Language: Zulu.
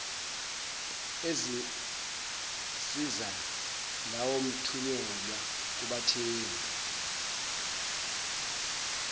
ezinsiza lawoathunyelwa kubathengi